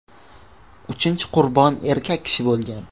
Uchinchi qurbon erkak kishi bo‘lgan.